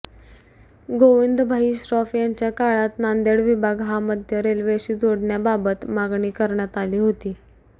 गोविंदभाई श्रॉफ यांच्या काळात नांदेड विभाग हा मध्य रेल्वेशी जोडण्याबाबत मागणी करण्यात आली होती